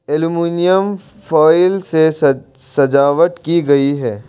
Aluminium foil से सजावट की गई है।